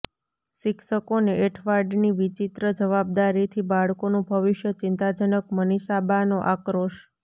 શિક્ષકોને એંઠવાડની વિચિત્ર જવાબદારીથી બાળકોનું ભવિષ્ય ચિંતાજનકઃ મનીષાબાનો આક્રોશ